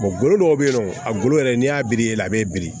golo dɔw be yen nɔ a golo yɛrɛ n'i y'a biri a bɛ bin